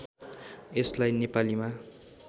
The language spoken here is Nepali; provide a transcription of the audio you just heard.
यसलाई नेपालीमा